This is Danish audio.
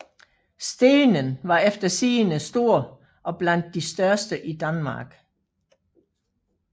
Stenen var efter sigende stor og blandt de i største i Danmark